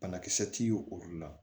Banakisɛ ti y'o olu la